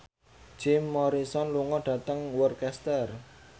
Jim Morrison lunga dhateng Worcester